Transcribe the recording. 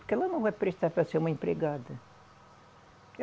Porque ela não vai prestar para ser uma empregada.